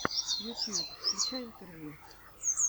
ютьюб включай интервью